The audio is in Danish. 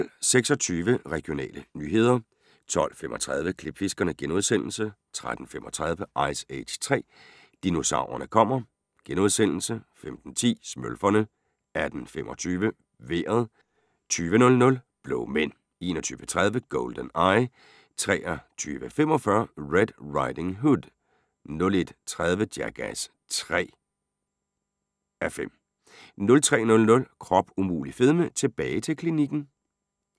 12:26: Regionale nyheder 12:35: Klipfiskerne * 13:35: Ice Age 3: Dinosaurerne kommer * 15:10: Smølferne 18:25: Vejret 20:00: Blå mænd 21:30: GoldenEye 23:45: Red Riding Hood 01:30: Jackass 3.5 03:00: Krop umulig fedme – tilbage til klinikken